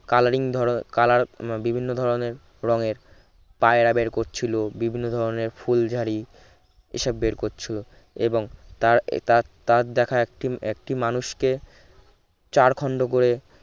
coloring ধর color বিভিন্ন ধরনের রঙের পায়রা বের করছিল বিভিন্ন ধরনের ফুলঝারি এসব বের করছিল এবং তার তার তার তার দেখা একটি একটি মানুষকে চার খন্ড করে